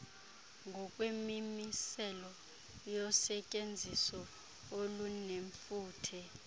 ngokwemimiselo yosetyenziso olunefuthe